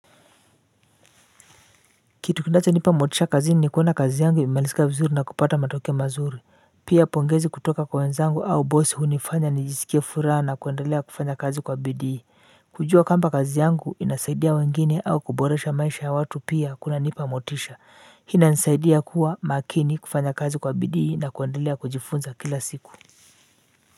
Kitu kinachonipa motisha kazini ni kuona kazi yangu imemalisika vizuri na kupata matokeo mazuri. Pia, pongezi kutoka kwa wenzangu au bosi hunifanya nijisikie furaha na kuendelea kufanya kazi kwa bidii. Kujua kwamba kazi yangu inawasaidia wengine au kuboresha maisha ya watu pia hunipa motisha. Hili hunisaidia kuwa makini, kufanya kazi kwa bidii na kuendelea kujifunza kila siku. Kwa hivyo,